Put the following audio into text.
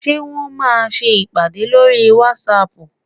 Ṣé Wọ́n máa ṣe ìpàdé lórí whatsapp?